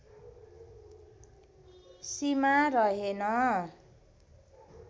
सीमा रहेन